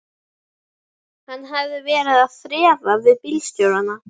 Hann hafði verið að þrefa við bílstjórana.